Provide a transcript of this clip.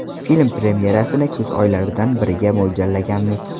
Film premyerasini kuz oylaridan biriga mo‘ljallaganmiz.